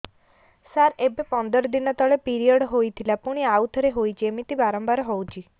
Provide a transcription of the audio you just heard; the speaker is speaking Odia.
ସାର ଏବେ ପନ୍ଦର ଦିନ ତଳେ ପିରିଅଡ଼ ହୋଇଥିଲା ପୁଣି ଆଉଥରେ ହୋଇଛି ଏମିତି ବାରମ୍ବାର ହଉଛି